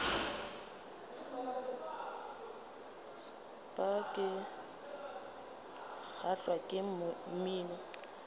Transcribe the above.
bar ke kgahlwa ke mmino